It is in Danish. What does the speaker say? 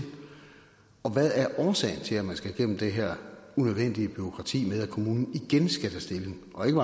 og hvad er årsagen til at man skal igennem det her unødvendige bureaukrati med at kommunen igen skal tage stilling og ikke